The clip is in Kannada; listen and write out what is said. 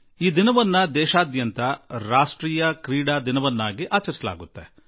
ಈ ದಿನವನ್ನು ದೇಶದೆಲ್ಲೆಡೆ ರಾಷ್ಟ್ರೀಯ ಕ್ರೀಡಾ ದಿವಸವಾಗಿ ಆಚರಿಸಲಾಗುತ್ತದೆ